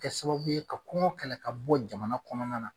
Kɛ sababu ye ka kɔngɔ kɛlɛ ka bɔ jamana kɔnɔna na